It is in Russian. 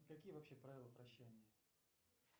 какие вообще правила прощания